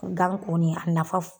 Gan kɔni a nafa